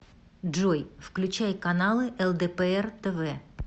джой включай каналы лдпр тв